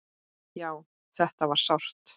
Já, þetta var sárt.